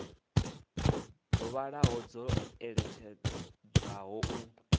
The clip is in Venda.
dzo vhalaho dzo iledzwaho u